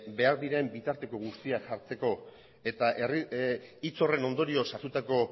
behar diren bitarteko guztiak jartzeko eta hitz horren ondorioz hartutako